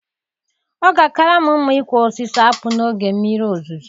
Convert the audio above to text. Ọ ga-akara m mma ịkụ osisi akpu n'oge mmiri ozuzo.